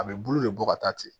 A bɛ bulu de bɔ ka taa ten